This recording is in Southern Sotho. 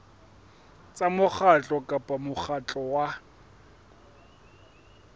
tsa mokgatlo kapa mokgatlo wa